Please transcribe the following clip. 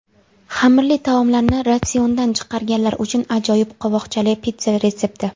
Xamirli taomlarni ratsiondan chiqarganlar uchun ajoyib qovoqchali pitssa retsepti!